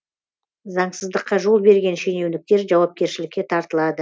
заңсыздыққа жол берген шенеуніктер жауапкершілікке тартылады